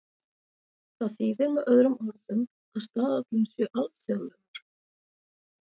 Það þýðir með öðrum orðum að staðallinn sé alþjóðlegur.